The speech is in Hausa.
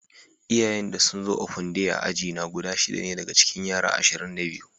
Iyayen da sun zo open day a'aji na guda shida ne daga cikin yara ashirin da biyu.